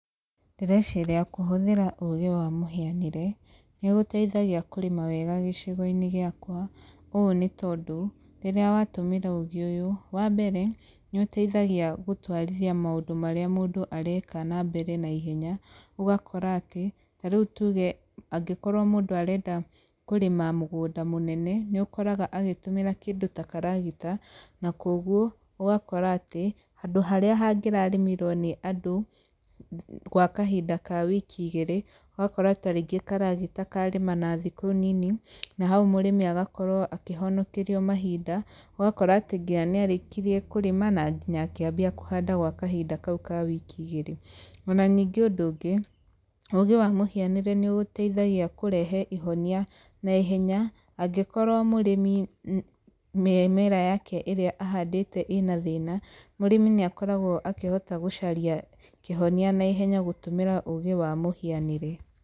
Ndĩreciria kũhũthĩra ũgĩ wa mũhianĩre, nĩgũteithagia kũrĩma wega gĩcigo-inĩ gĩakwa, ũũ nĩ tondũ, rĩrĩa watũmĩra ũgĩ ũyũ, wa mbere, nĩ ũteithagia gũtwarithia maũndũ marĩa mũndũ areka na mbere naihenya, ũgakora atĩ, tarĩu tuge angĩkorwo mũndũ arenda kũrĩma mũgũnda mũnene, nĩ ũkoraga agĩtũmĩra kĩndũ ta karagita, na kogwo, ũgakora atĩ, handũ harĩa hangĩrarĩmirwo nĩ andũ gwa kahinda ka wiki igĩrĩ, ũgakora ta rĩngĩ karagita karĩma na thikũ nini, na hau mũrĩmi agakorwo akĩhonekerio mahinda, ũgakora atĩ nginya nĩarĩkirie kũrĩma, na nginya akĩambia kũhanda gwa kahinda kau ka wiki igĩrĩ. O na ningĩ ũndũ ũngĩ, ũgĩ wa mũhianĩre nĩ gũteithagia kũrehe ihonia naihenya, angĩkorwo mũrĩmi mĩmera yake ĩrĩa ahandĩte ĩ na thĩna, mũrĩmi nĩ akoragwo akĩhota gũcaria kĩhonia naihenya gũtũmĩra ũgĩ wa mũhianĩre.